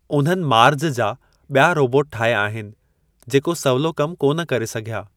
उन्हनि मार्ज जा बि॒या रोबोट ठाहिया आहिनि जेको सवलो कम कोन करे सघिया।